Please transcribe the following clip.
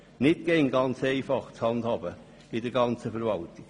Das ist nicht immer ganz einfach zu handhaben in der gesamten Verwaltung.